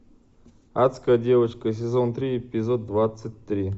адская девочка сезон три эпизод двадцать три